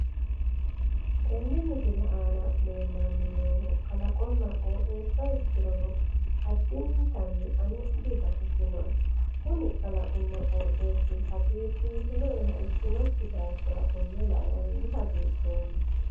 Tenne misile aana leellanni noohu kalaqonna qooxeessa ikkirono addintanni ane dibaxisinoe. kuni kalaqonba qoixeessu hagiirsiisinoeha ikkinokki daafira konne lae ani dihagiidhoomma.